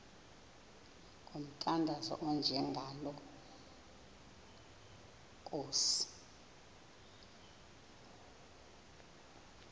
ngomthandazo onjengalo nkosi